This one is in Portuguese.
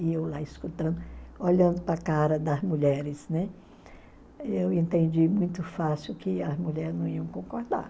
E eu lá escutando, olhando para a cara das mulheres, né, eu entendi muito fácil que as mulher não iam concordar.